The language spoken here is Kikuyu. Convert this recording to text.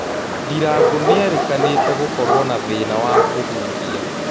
Ndirango nĩerĩkanite gukoruo na thĩina wa kũhuhia